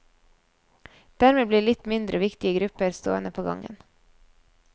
Dermed blir litt mindre viktige grupper stående på gangen.